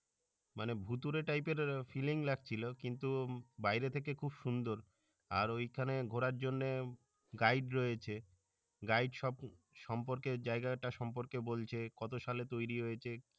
মানে ভূতুরে type এর feeling লাগছিলো কিন্তু বাইরে থেকে খুব সুন্দর, আর ওইখানে ঘোরার জন্য guide রয়েছে, guide সব সম্পর্কে জাইগাটা সম্পর্কে বলছে কতো সাল তৈরি হয়েছে